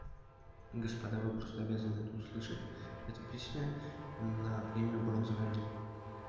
господа вы просто обязаны это услышать это песня на премию бронзовый олень